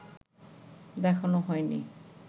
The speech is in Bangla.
দেখানো হয়নি